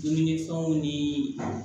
Dumunifɛnw ni